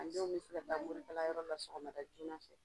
A dɔw be se ka taa morikalanyɔrɔ la sɔgɔmada joona fɛ.